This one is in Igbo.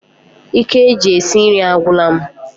Ike ji esi nri agwula m